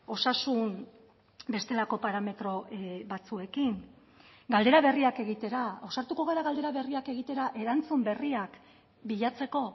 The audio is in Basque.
osasun bestelako parametro batzuekin galdera berriak egitera ausartuko gara galdera berriak egitera erantzun berriak bilatzeko